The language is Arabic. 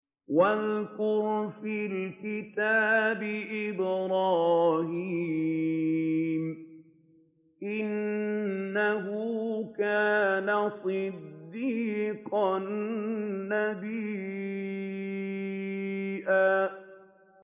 وَاذْكُرْ فِي الْكِتَابِ إِبْرَاهِيمَ ۚ إِنَّهُ كَانَ صِدِّيقًا نَّبِيًّا